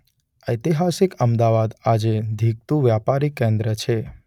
ઐતિહાસિક અમદાવાદ આજે ધીકતું વ્યાપારી કેન્દ્ર છે.